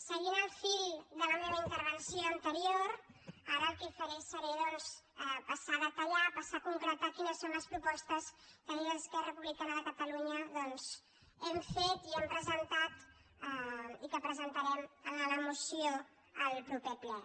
seguint el fil de la meva intervenció anterior ara el que faré doncs és passar a detallar passar a concretar quines són les propostes que des d’esquerra republicana de catalu·nya hem fet i hem presentat i que presentarem en la moció al proper ple